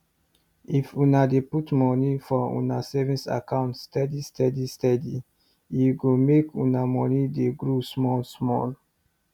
if una dey put money for una savings account steady steady steadye go make una money dey grow small small